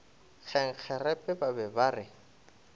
kgenkgerepe ba be ba re